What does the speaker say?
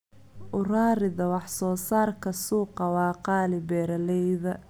U rarida wax soo saarka suuqa waa qaali beeralayda.